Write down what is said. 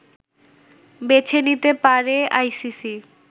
বেছে নিতে পারে আইসিসি